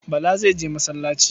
Bala zai je masallaci.